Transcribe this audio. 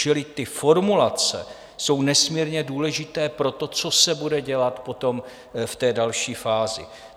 Čili ty formulace jsou nesmírně důležité pro to, co se bude dělat potom v té další fázi.